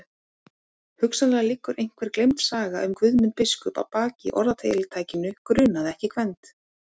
Hugsanlega liggur einhver gleymd saga um Guðmund biskup að baki orðatiltækinu grunaði ekki Gvend.